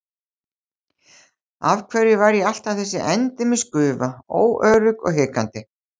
Af hverju var ég alltaf þessi endemis gufa, óörugg og hikandi?